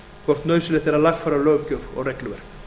hvort nauðsynlegt er að lagfæra löggjöf og regluverk